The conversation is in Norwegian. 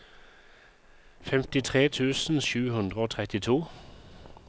femtitre tusen sju hundre og trettito